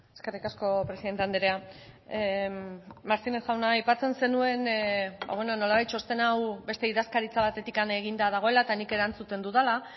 eskerrik asko presidente andrea martínez jauna aipatzen zenuen ba bueno nolabait txosten hau beste idazkaritza batetik eginda dagoela eta nik erantzuten dudala